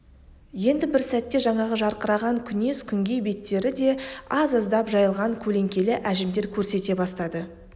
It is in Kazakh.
енді бір сәтте жаңағы жарқыраған күнес күңгей беттері де аз-аздап жайылған көлеңкелі әжімдер көрсете бастады